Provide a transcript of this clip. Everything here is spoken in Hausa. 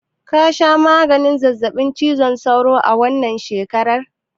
Ka sha maganin zazzaɓin cizon sauro a wannan shekarar?